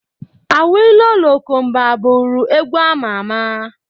Awilo lokomba bụrụ egwu ama ama